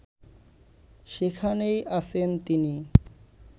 সেখানেই আছেন তিনি